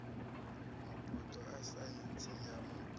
mabuḓo a saintsi ya mupo